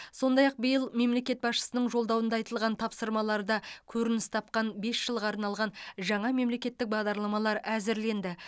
сондай ақ биыл мемлекет басшысының жолдауында айтылған тапсырмаларда көрініс тапқан бес жылға арналған жаңа мемлекеттік бағдарламалар әзірленді